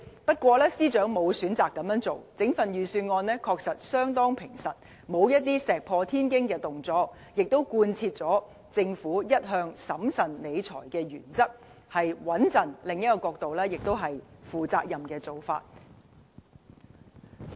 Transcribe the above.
不過，司長沒有選擇這樣做，整份預算案確實相當平實，沒有石破天驚的動作，也貫徹政府一向審慎理財的原則，相當平穩，而從另一個角度看，這也是負責任的做法。